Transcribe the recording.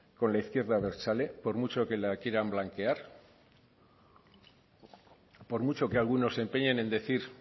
con la izquierda abertzale por mucho que la quieran blanquear por mucho que algunos se empeñen en decir